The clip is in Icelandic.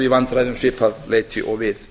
vandræði um svipað leyti og við